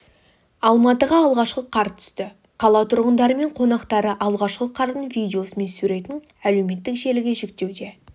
алматыға алғашқы қар түсті қала тұрғындары мен қонақтары алғашқы қардың видеосы мен суретін әлеуметтік желіге жүктеуде